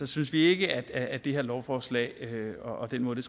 synes vi ikke at det her lovforslag og den måde det